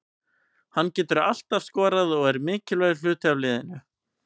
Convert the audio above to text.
Hann getur alltaf skorað og er mikilvægur hluti af liðinu.